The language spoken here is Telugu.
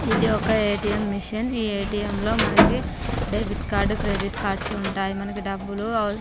ఇది ఒక ఎటిఎం మెషిన్ . ఈ ఏటీఎం లో మనకి డెబిట్ కార్డు క్రెడిట్ కార్డు లు ఉంటాయి. మనకు డబ్బులు అవస్--